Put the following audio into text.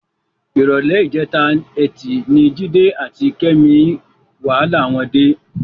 Ìrọ̀lẹ́ ìjẹta Ẹtì ni Jídé àti Kẹ́mi wàhálà wọn dé.